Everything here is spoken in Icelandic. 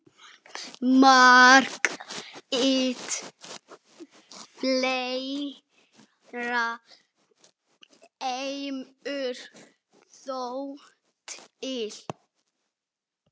Margt fleira kemur þó til.